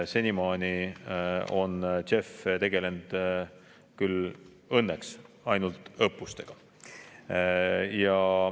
Senimaani on JEF tegelenud küll õnneks ainult õppustega.